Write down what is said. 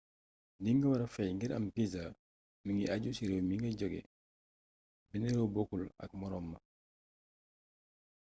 li nga wara fay ngir am visa mingi aju ci réew mi nga joge benn réew bokkul ak moroom ma